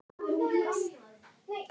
Snorri í Eddu sinni.